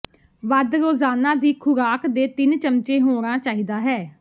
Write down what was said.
ਵੱਧ ਰੋਜ਼ਾਨਾ ਦੀ ਖੁਰਾਕ ਦੇ ਤਿੰਨ ਚਮਚੇ ਹੋਣਾ ਚਾਹੀਦਾ ਹੈ